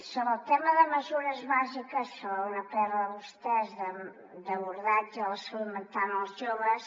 sobre el tema de mesures bàsiques fan una pr vostès d’abordatge de la salut mental en els joves